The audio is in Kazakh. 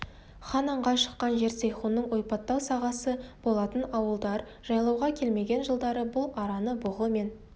хан аңға шыққан жер сейхунның ойпаттау сағасы болатын ауылдар жайлауға келмеген жылдары бұл араны бұғы мен